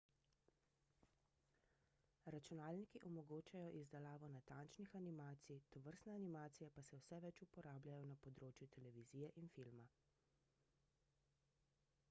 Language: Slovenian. računalniki omogočajo izdelavo natančnih animacij tovrstne animacije pa se vse več uporabljajo na področju televizije in filma